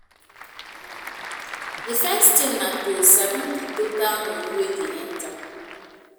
The first thing na to sabi di total money wey dey enter